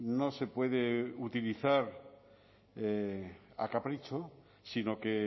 no se puede utilizar a capricho sino que